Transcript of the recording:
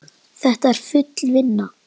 Þetta er full vinna.